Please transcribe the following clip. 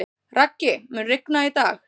Raggi, mun rigna í dag?